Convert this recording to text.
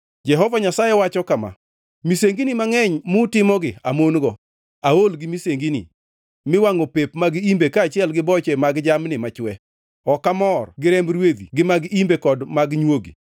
Jehova Nyasaye wacho kama: “Misengini mangʼeny mutimogi amon-go.” Aol gi misengini miwangʼo pep mag imbe kaachiel gi boche mag jamni machwe. Ok amor gi remb rwedhi gi mag imbe kod mag nywogi.